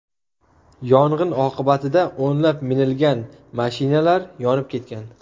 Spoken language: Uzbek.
Yong‘in oqibatida o‘nlab minilgan mashinalar yonib ketgan.